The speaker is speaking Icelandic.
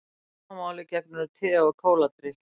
Sama máli gegnir um te og kóladrykki.